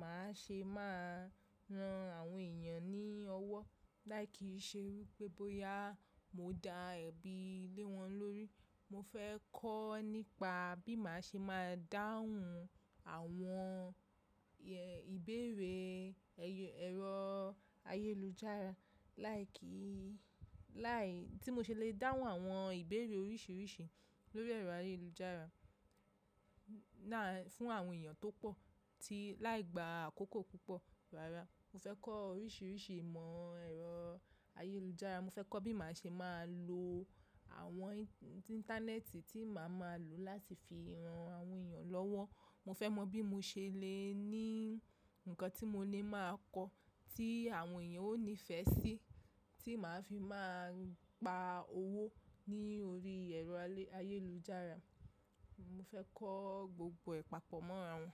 màá ṣe máa ran àwọn èèyàn ní ọwọ́, láì kìí ṣe wípé bóyá mo da ẹbí lé wọn lórí. Mo fẹ́ kọ́ nípa bí màá ṣe máa dáhùn àwọn ìbéèrè ey, ẹ̀rọ ayélujára láì kí, láì, tí mo ṣe lè dáhùn àwọn ìbéèrè oríṣìíríṣìí lórí ẹ̀rọ ayélujára náà fún àwọn èèyàn tó pọ̀ tí láì gba àkókò púpọ̀ rárá. Mo fẹ́ kọ́ oríṣìíríṣìí ìmọ̀ ẹ̀rọ ayélujára, mo fẹ́ kọ́ bí màá ṣe máa lo àwọn íńtánẹ́ẹ̀tì tí màá máa lò láti fi ran àwọn èèyàn lọ́wọ́. Mo fẹ́ mọ bí mo ṣe lè ní nǹkan tí mo lè máa kọ́ tí àwọn èèyàn ó nífẹ̀ẹ́ sí, tí màá fi máa gba owó ní orí ẹ̀rọ ayélujára. Mo fẹ́ kọ́ gbogbo e papọ̀ mọ́ra wọn.